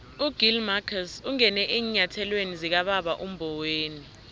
ugill marcus ungene eenyathelweni zikababa umboweni